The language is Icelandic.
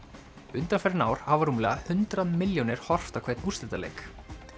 undanfarin ár hafa rúmlega hundrað milljónir horft á hvern úrslitaleik